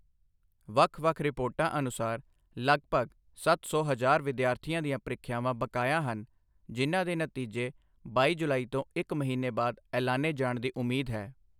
ਵੱਖ ਵੱਖ ਰਿਪੋਰਟਾਂ ਅਨੁਸਾਰ, ਲਗਭਗ ਸੱਤ ਸੌ ਹਜ਼ਾਰ ਵਿਦਿਆਰਥੀਆਂ ਦੀਆਂ ਪ੍ਰੀਖਿਆਵਾਂ ਬਕਾਇਆ ਹਨ, ਜਿਨ੍ਹਾਂ ਦੇ ਨਤੀਜੇ ਬਾਈ ਜੁਲਾਈ ਤੋਂ ਇੱਕ ਮਹੀਨੇ ਬਾਅਦ ਐਲਾਨੇ ਜਾਣ ਦੀ ਉਮੀਦ ਹੈ।